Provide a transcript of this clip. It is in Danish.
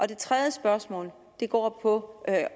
det tredje spørgsmål går på